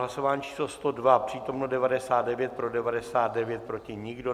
Hlasování číslo 102, přítomno 99, pro 99, proti nikdo.